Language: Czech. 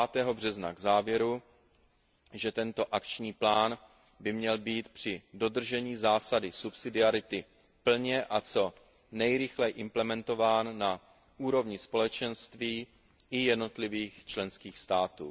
5. března k závěru, že tento akční plán by měl být při dodržení zásady subsidiarity plně a co nejrychleji implementován na úrovni Společenství i jednotlivých členských států.